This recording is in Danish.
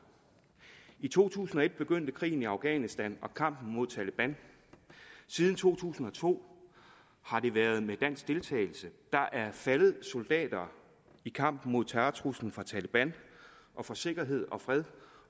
i to tusind og et begyndte krigen i afghanistan og kampen mod taleban siden to tusind og to har det været med dansk deltagelse der er faldet soldater i kampen mod terrortruslen fra taleban og for sikkerhed og fred